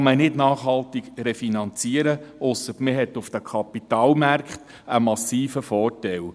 Das kann man nicht nachhaltig refinanzieren, ausser man hat auf den Kapitalmärkten einen massiven Vorteil.